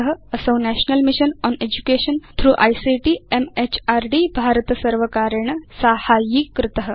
असौ national mission on education through ICT म्हृद् भारतसर्वकारेण साहाय्यीकृत